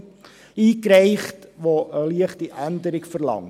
Wir haben auch einen eingebracht, der eine leichte Änderung verlangt.